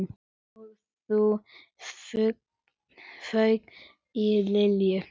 Og þá fauk í Lilju.